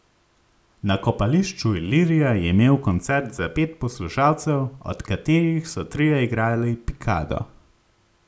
Na kopališču Ilirija je imel koncert za pet poslušalcev, od katerih so trije igrali pikado.